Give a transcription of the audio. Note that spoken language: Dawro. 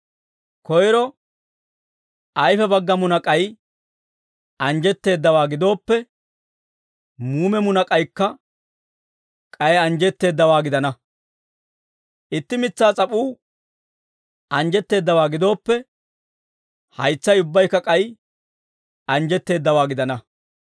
Koyro ayfe bagga munak'ay anjjetteeddawaa gidooppe, muume munak'aykka k'ay anjjetteeddawaa gidana; itti mitsaa s'ap'uu anjjetteeddawaa gidooppe, haytsay ubbaykka k'ay anjjetteeddawaa gidana.